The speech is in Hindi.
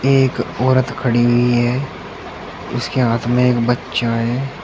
एक औरत खड़ी हुई है उसके हाथ में एक बच्चा है।